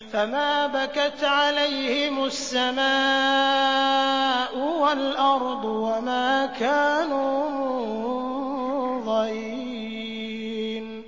فَمَا بَكَتْ عَلَيْهِمُ السَّمَاءُ وَالْأَرْضُ وَمَا كَانُوا مُنظَرِينَ